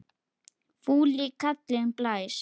Fúli kallinn blæs.